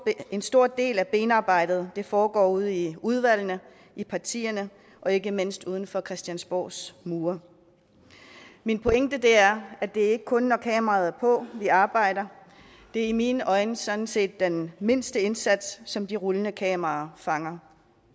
en stor del af benarbejdet foregår ude i udvalgene i partierne og ikke mindst uden for christiansborgs mure min pointe er at det ikke kun er når kameraet er på at vi arbejder det er i mine øjne sådan set den mindste indsats som de rullende kameraer fanger